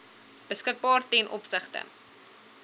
beskikbaar ten opsigte